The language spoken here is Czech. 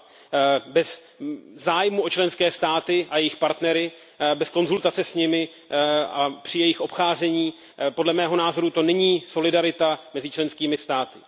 2. Bez zájmu o členské státy a jejich partnery, bez konzultace s nimi a při jejich obcházení to podle mého názoru není solidarita mezi členskými státy.